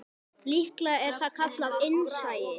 Líklega er það kallað innsæi.